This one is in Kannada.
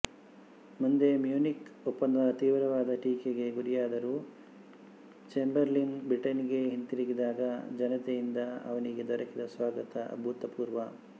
ಮುಂದೆ ಮ್ಯೂನಿಕ್ ಒಪ್ಪಂದ ತೀವ್ರವಾದ ಟೀಕೆಗೆ ಗುರಿಯಾದರೂ ಚೇಂಬರ್ಲಿನ್ ಬ್ರಿಟಿನ್ನಿಗೆ ಹಿಂತಿರುಗಿದಾಗ ಜನತೆಯಿಂದ ಅವನಿಗೆ ದೊರಕಿದ ಸ್ವಾಗತ ಅಭೂತಪೂರ್ವ